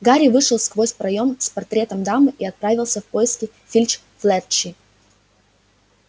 гарри вышел сквозь проём с портретом дамы и отправился на поиски финч-флетчли